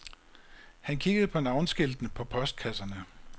Han kiggede på navneskiltene på postkasserne.